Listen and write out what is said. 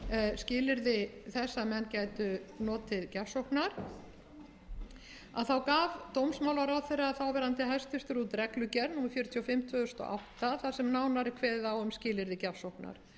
skilyrði þess að menn gætu notið gjafsóknar gaf hæstvirtur þáv dómsmálaráðherra út reglugerð númer fjörutíu og fimm tvö þúsund og átta þar sem nánar er kveðið á um skilyrði gjafsóknar verði þetta frumvarp að lögum þarf að